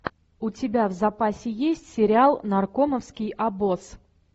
у тебя в запасе есть сериал наркомовский обоз